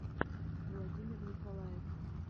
владимир николаев